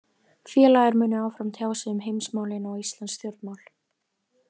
Félagar munu áfram tjá sig um heimsmálin og íslensk stjórnmál.